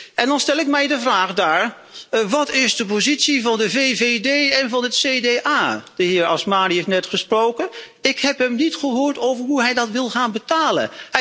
En dan stel ik mij de vraag wat is de positie van de VVD en van het CDA? De heer Azmani heeft net gesproken. Ik heb hem niet gehoord over hoe hij dat wil gaan betalen.